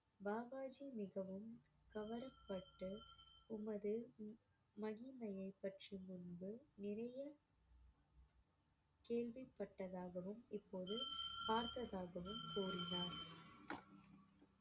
பாபாஜி மிகவும் கவரப்பட்டு உமது மகிமையைப் பற்றி முன்பு நிறைய கேள்விப்பட்டதாகவும் இப்போது பார்த்ததாகவும் கூறினார்